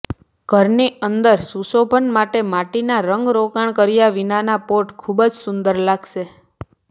ઘરની અંદર સુશોભન માટે માટીના રંગરોગાણ કર્યા વિનાના પોટ ખુબ જ સુંદર લાગશે